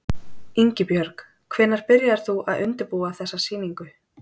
Ingibjörg, hvenær byrjaðir þú að undirbúa þessa sýningu?